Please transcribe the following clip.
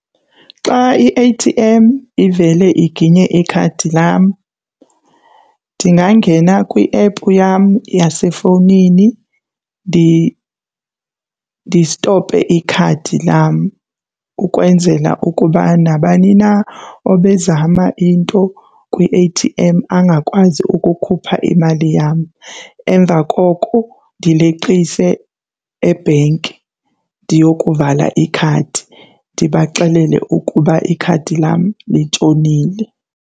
Xa i-A_T_M ivele iginye ikhadi lam ndingangena kwiephu yam yasefowunini ndistophe ikhadi lam ukwenzela ukuba nabani na obezama into kwi-A_T_M angakwazi ukukhupha imali yam. Emva koko ndileqise ebhenki ndiyokuvala ikhadi, ndibaxelele ukuba ikhadi lam litshonile.